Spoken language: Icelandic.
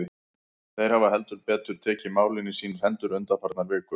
Þeir hafa heldur betur tekið málin í sínar hendur undanfarnar vikur.